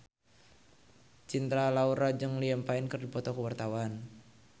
Cinta Laura jeung Liam Payne keur dipoto ku wartawan